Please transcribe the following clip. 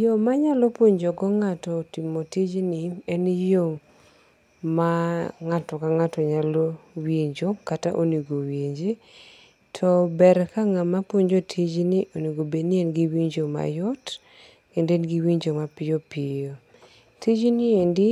Yo manyalo puonjo go ng'ato timo tijni en yo ma ng'ato ka ng'ato nyalo winjo kata onego owinji. To ber ka ng'ama puonjo tijni onego bed ni en gi winjo mayot kendo en gi winjo ma piyo piyo. Tijni endi